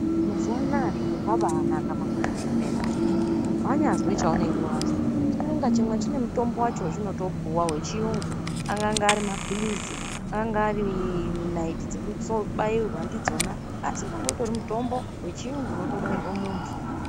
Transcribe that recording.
Mazuva anawa zviro zvabanaka maningi ngenyaya yekuti wanyazwa chaunenge wanzwa chimwe na chimwe chine mutombo wacho wachinotopuwa wechirungu angava mapirizi angava naiti dzokubairwa ndidzona asi unenge uri mutombo wechirungu inobairwa muntu.